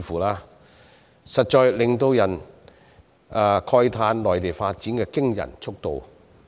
這實在令人讚嘆內地發展的驚人速度。